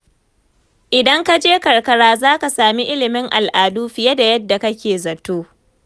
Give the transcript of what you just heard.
Idan kaje karkara zaka sami ilimin al'adu fiye da yadda kake zato.